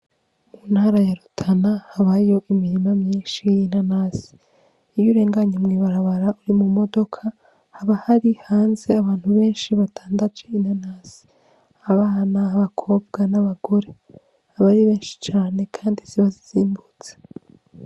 Mu ntara ya Rutana habayo imirima myishi y'inanasi iyo urenganye mw'ibarabara uri mu modoka haba hari hanze abantu beshi badandaje inanasi abana, abakobwa n'abagore aba ari beshi cane kandi ziba zizimbutse.